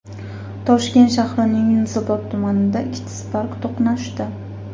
Toshkent shahrining Yunusobod tumanida ikkita Spark to‘qnashdi.